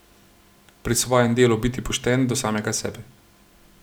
Pri svojem delu biti pošten do samega sebe.